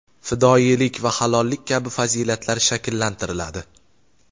fidoyilik va halollik kabi fazilatlar shakllantiriladi.